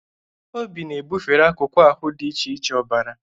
Obi na-ebufere akụkụ ahụ dị iche iche ọbara.